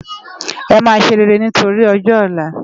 Emá séréré nitóri òjò òlá